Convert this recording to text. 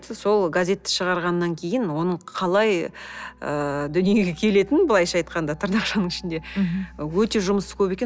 сол газетті шығарғаннан кейін оның қалай ыыы дүниеге келетінін былайша айтқанда тырнақшаның ішінде мхм өте жұмысы көп екен